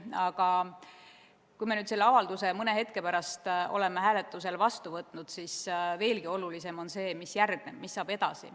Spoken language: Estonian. Aga kui me selle avalduse mõne hetke pärast oleme hääletusel vastu võtnud, siis veelgi olulisem on see, mis järgneb, see, mis saab edasi.